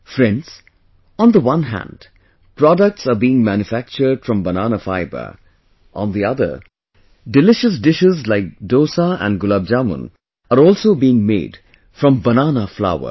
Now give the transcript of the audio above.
Friends, on the one hand products are being manufactured from banana fibre; on the other, delicious dishes like dosa and gulabjamun are also being made from banana flour